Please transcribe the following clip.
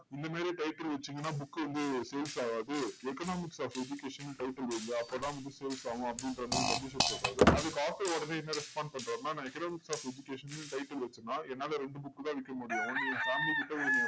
இந்த மாதிரி title வச்சீங்கன்னா book வந்து sales ஆகாது economics of education ன்னு title வைங்க அப்போதான் book sales ஆகும், அப்படிங்கற மாதிரி publisher சொல்றாரு. அதுக்கு author உடனே என்ன respond பண்றாருன்னா, நான் economics of education ன்னு title வச்சேன்னா, என்னால ரெண்டு book தான் விக்க முடியும் ஒன்னு என் family கிட்ட, ஒண்ணு